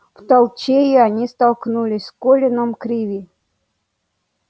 в толчее они столкнулись с колином криви